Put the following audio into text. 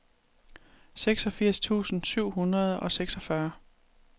seksogfirs tusind syv hundrede og seksogfyrre